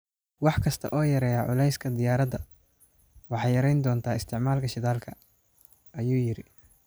"Wax kasta oo yareeya culeyska diyaaradda waxay yareyn doontaa isticmaalka shidaalka", ayuu yiri.